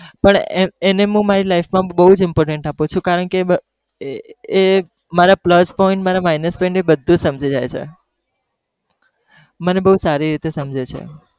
પણ એને હું મારી life માં બઉ importance આપું છુ કારણ કે એ મારા plus point મારા minus point બધુજ સમજી જાય છે, મને બવ સારી રીતે સમજે છે.